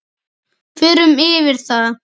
Förum yfir það.